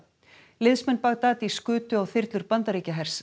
liðsmenn Baghdadis skutu á þyrlur Bandaríkjahers